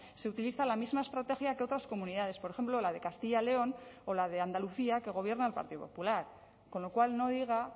se utiliza la misma estrategia que otras comunidades por ejemplo la de castilla león o la de andalucía que gobierna el partido popular con lo cual no diga